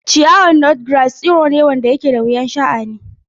Ciyawar Nutgrass tsiro ne da ke da wahalar sha'ani.